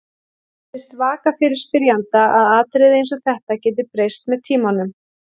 Það virðist vaka fyrir spyrjanda að atriði eins og þetta geti breyst með tímanum.